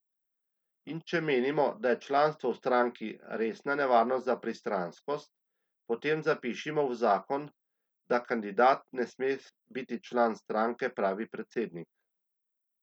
In če menimo, da je članstvo v stranki resna nevarnost za pristranskost, potem zapišimo v zakon, da kandidat ne sme biti član stranke, pravi predsednik.